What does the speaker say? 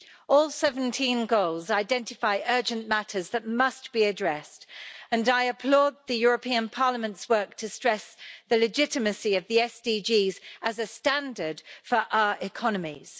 All 17 goals identify urgent matters that must be addressed and I applaud the European Parliament's work to stress the legitimacy of the SDGs as a standard for our economies.